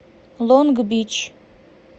лонг бич